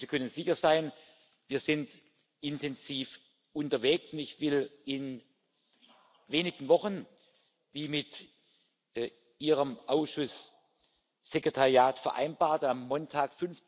Aber Sie können sicher sein, wir sind intensiv unterwegs. Ich will in wenigen Wochen, wie mit Ihrem Ausschusssekretariat vereinbart, am Montag,